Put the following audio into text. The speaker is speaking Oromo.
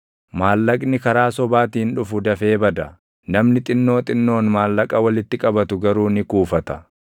Maallaqni karaa sobaatiin dhufu dafee bada; namni xinnoo xinnoon maallaqa walitti qabatu garuu ni kuufata.